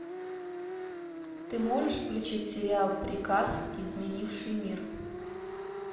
ты можешь включить сериал приказ изменивший мир